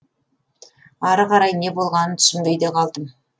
ары қарай не болғанын түсінбей де қалдым